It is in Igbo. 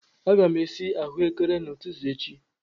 Aga m esi ahụekere n'ụtụtụ echi.